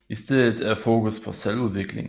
I stedet er fokus på selvudvikling